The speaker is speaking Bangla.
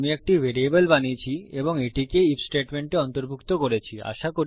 তাই আমি একটি ভ্যারিয়েবল বানিয়েছি এবং আমি এটিকে ইফ স্টেটমেন্টে অন্তর্ভুক্ত করেছি